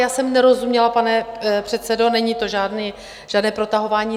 Já jsem nerozuměla, pane předsedo, není to žádné protahování.